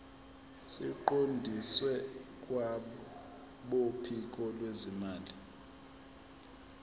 siqondiswe kwabophiko lwezimali